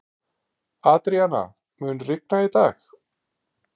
Adríana, mun rigna í dag?